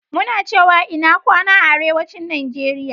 Muna cewa "INA GWANA" a Arewacin Nigeria.